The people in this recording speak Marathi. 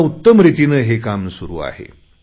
एका उत्तम रितीने हे काम सुरु आहे